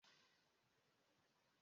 Ọ bụ na Ị chọghị ịmụ ọtụtụ ụmụ?